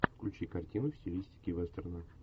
включи картину в стилистике вестерна